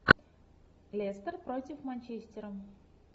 лестер против манчестера